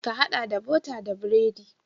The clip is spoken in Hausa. Ka haɗa da bota da biredi.